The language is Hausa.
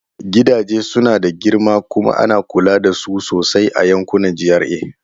Gidaje suna da girma kuma ana kula da su sosai a yankunan GRA.